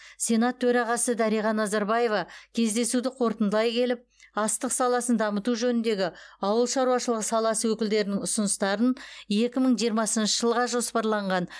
сенат төрағасы дариға назарбаева кездесуді қорытындылай келіп астық саласын дамыту жөніндегі ауыл шаруашылығы саласы өкілдерінің ұсыныстарын екі мың жиырмасыншы жылға жоспарланған